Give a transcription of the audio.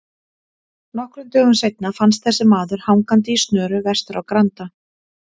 Nokkrum dögum seinna fannst þessi maður hangandi í snöru vestur á Granda.